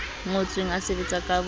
ngotsweng a sebetsa ka boyena